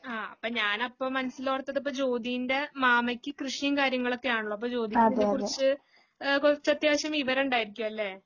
ആ അപ്പം ഞാനപ്പം മനസ്സിലോർത്തത് ഇപ്പം ജ്യോതിൻ്റെ മാമയ്ക്ക് കൃഷിയും കാര്യങ്ങളൊക്കെയാണല്ലോ അപ്പൊ ജ്യോതിക്ക് ഇതിനെക്കുറിച്ച് ഏഹ് കുറച്ചു അത്യാവശ്യം വിവരം ഉണ്ടായിരിക്കും അല്ലേ?